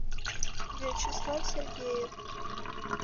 вячеслав сергеев